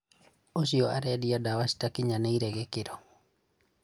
ũcio arendia ndawa citakinyanĩire gĩkĩro